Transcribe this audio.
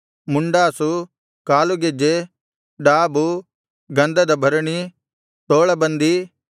ಮುಂಡಾಸು ಕಾಲಗೆಜ್ಜೆ ಡಾಬು ಗಂಧದ ಭರಣಿ ತೋಳಬಂಧಿ